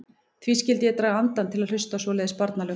Hví skyldi ég draga andann til að hlusta á svoleiðis barnalög.